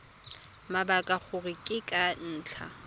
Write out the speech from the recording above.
mabaka gore ke ka ntlha